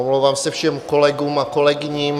Omlouvám se všem kolegům a kolegyním.